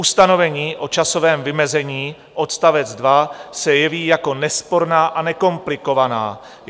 Ustanovení o časovém vymezení odst. 2 se jeví jako nesporná a nekomplikovaná.